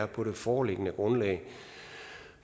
på det foreliggende grundlag